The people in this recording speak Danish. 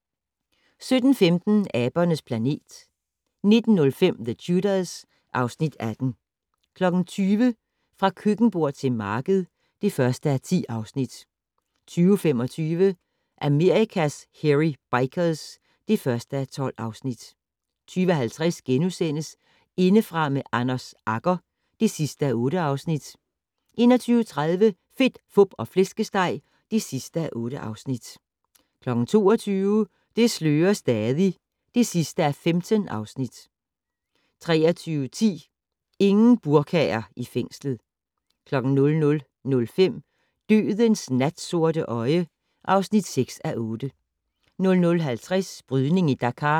17:15: Abernes planet 19:05: The Tudors (Afs. 18) 20:00: Fra køkkenbord til marked (1:10) 20:25: Amerikas Hairy Bikers (1:12) 20:50: Indefra med Anders Agger (8:8)* 21:30: Fedt, Fup og Flæskesteg (8:8) 22:00: Det slører stadig (15:15) 23:10: Ingen burkaer i fængslet 00:05: Dødens natsorte øje (6:8) 00:50: Brydning i Dakar